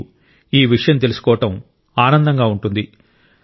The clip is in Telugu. మీకు ఈ విషయం తెలుసుకోవడం ఆనందంగా ఉంటుంది